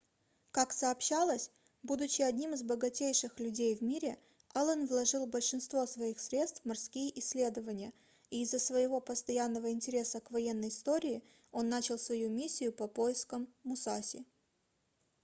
ка сообщалось будучи одним из богатейших людей в мире аллен вложил большинство своих средств в морские исследования и из-за своего постоянного интереса к военной истории он начал свою миссию по поискам мусаси